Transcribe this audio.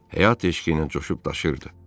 Həyat eşqi ilə coşub daşırdı.